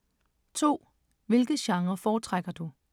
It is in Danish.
2) Hvilke genrer foretrækker du?